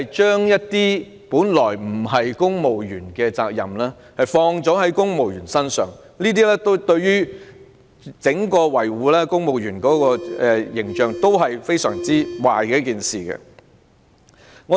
將本來不屬於公務員的責任放在公務員身上，對維護公務員的整體形象是非常壞的事情。